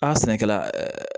A sɛnɛkɛla